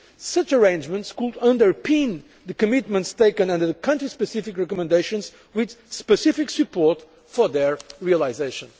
Such arrangements could underpin the commitments taken under the country specific recommendations with specific support for their realisation.